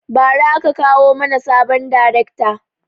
Ba ra aka kawo mana sabon darekta